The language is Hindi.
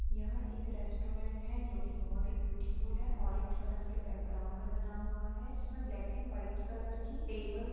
यह एक रेस्टोरंट है जो की बहुत ही ब्यूटीफुल है ओरेंज कलर के बैकग्राउंड में बना हुआ है जिसमे ब्लैक एंड वाइट कलर की टेबल्स --